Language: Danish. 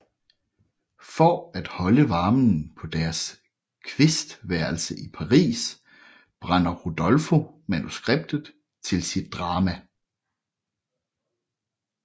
For at holde varmen på deres kvistværelse i Paris brænder Rodolfo manuskriptet til sit drama